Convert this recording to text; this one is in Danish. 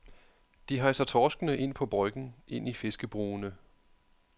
De hejser torskene ind på bryggen, ind i fiskebrugene.